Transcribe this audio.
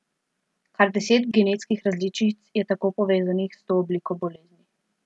Kar deset genetskih različic je tako povezanih s to obliko bolezni.